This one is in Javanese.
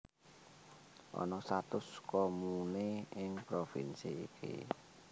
Ana satus komune ing provinsi iki